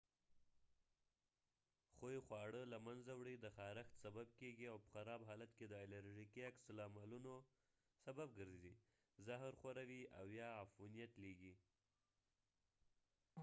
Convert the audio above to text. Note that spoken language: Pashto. خوۍ خواړه له منځه وړي د خارښت سبب کېږي او په خراب حالت کې د الرژيکي عکس العملونو سبب ګرځي زهر خوروي او یا عفونیت لېږي